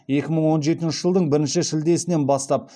екі мың он жетінші жылдың бірінші шілдесінен бастап